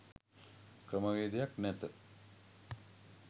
ක්‍රමවේදයක් නැත